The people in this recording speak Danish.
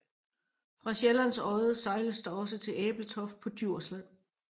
Fra Sjællands Odde sejles der også til Ebeltoft på Djursland